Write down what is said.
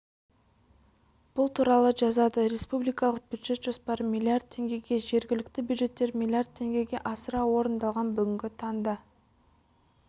бұл туралы жазады республикалық бюджет жоспары миллиард теңгеге жергілікті бюджеттер миллиард теңгеге асыра орындалған бүгінгі таңда